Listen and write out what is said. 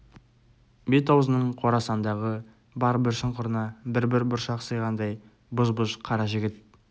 бет-аузының қорасандағы бар бір шұңқырына бір-бір бұршақ сыйғандай бұж-бұж қара жігіт